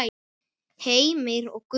Heimir og Gunnur.